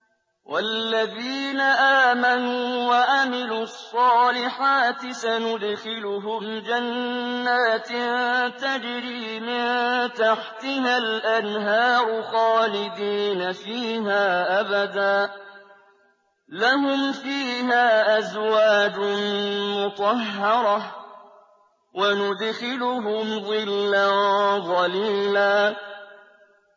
وَالَّذِينَ آمَنُوا وَعَمِلُوا الصَّالِحَاتِ سَنُدْخِلُهُمْ جَنَّاتٍ تَجْرِي مِن تَحْتِهَا الْأَنْهَارُ خَالِدِينَ فِيهَا أَبَدًا ۖ لَّهُمْ فِيهَا أَزْوَاجٌ مُّطَهَّرَةٌ ۖ وَنُدْخِلُهُمْ ظِلًّا ظَلِيلًا